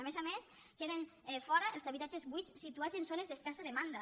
a més a més queden fora els habitatges buits situats en zones d’escassa demanda